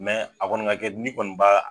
a kɔni ka kɛ ni kɔni b'a